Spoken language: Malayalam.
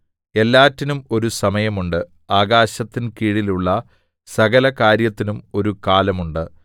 എല്ലാറ്റിനും ഒരു സമയമുണ്ട് ആകാശത്തിൻ കീഴിലുള്ള സകല കാര്യത്തിനും ഒരു കാലം ഉണ്ട്